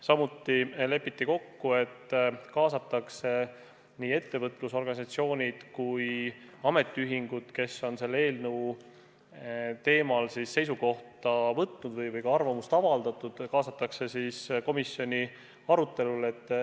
Samuti lepiti kokku, et kaasatakse nii ettevõtlusorganisatsioonid kui ka ametiühingud, kes on selle eelnõu teemal seisukoha võtnud või lihtsalt arvamust avaldanud, komisjoni arutelule.